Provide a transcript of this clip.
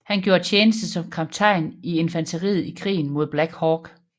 Han gjorde tjeneste som kaptajn i infanteriet i Krigen mod Black Hawk